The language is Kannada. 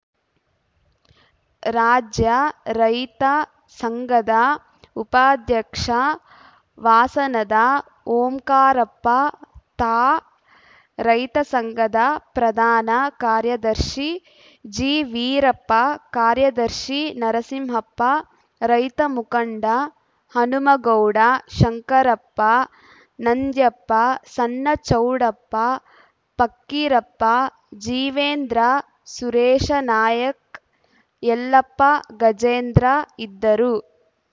ರಾಜ್ಯ ರೈತ ಸಂಘದ ಉಪಾಧ್ಯಕ್ಷ ವಾಸನದ ಓಂಕಾರಪ್ಪ ತಾ ರೈತ ಸಂಘದ ಪ್ರಧಾನ ಕಾರ್ಯದರ್ಶಿ ಜಿವೀರಪ್ಪ ಕಾರ್ಯದರ್ಶಿ ನರಸಿಂಹಪ್ಪ ರೈತ ಮುಖಂಡ ಹನುಮಗೌಡ ಶಂಕರಪ್ಪ ನಂದ್ಯಪ್ಪ ಸಣ್ಣಚೌಡಪ್ಪ ಫಕ್ಕಿರಪ್ಪ ಜೀವೇಂದ್ರ ಸುರೇಶನಾಯ್ಕ ಯಲ್ಲಪ್ಪ ಗಜೇಂದ್ರ ಇದ್ದರು